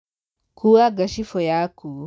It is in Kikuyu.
Kua ngacibũ yaku.